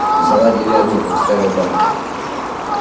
заладили одно как старая баба